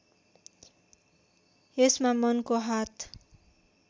यसमा मनको हात